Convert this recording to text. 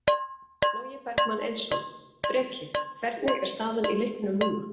Logi Bergmann Eiðsson: Breki, hvernig er staðan í leiknum núna?